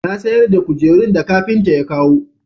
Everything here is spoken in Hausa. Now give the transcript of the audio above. Ta sayar da kujerun da kafinta ya kawo